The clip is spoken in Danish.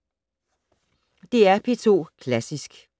DR P2 Klassisk